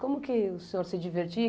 Como foi que o senhor se divertia?